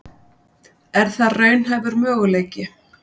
Er það raunhæfur möguleiki?